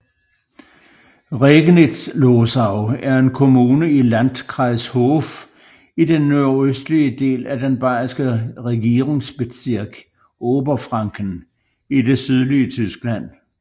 Regnitzlosau er en kommune i Landkreis Hof i den nordøstlige del af den bayerske regierungsbezirk Oberfranken i det sydlige Tyskland